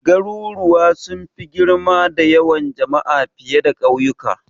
Garuruwa sun fi girma da yawan jama'a fiye da kauyuka.